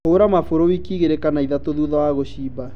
Hũra mabũrũ wiki ta igĩli kana ithatũ thutha wa gũshimba